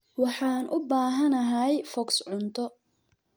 Waxaan u baahanahay foox cunto.